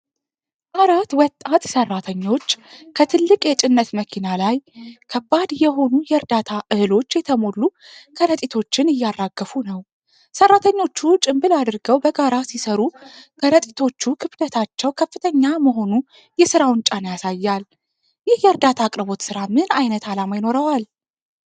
አራት ወጣት ሠራተኞች ከትልቅ የጭነት መኪና ላይ ከባድ የሆኑ የዕርዳታ እህሎች የተሞሉ ከረጢቶችን እያራገፉ ነው። ሠራተኞቹ ጭንብል አድርገው በጋራ ሲሰሩ፣ ከረጢቶቹ ክብደታቸው ከፍተኛ መሆኑ የሥራውን ጫና ያሳያል። ይህ የዕርዳታ አቅርቦት ሥራ ምን አይነት ዓላማ ይኖረዋል?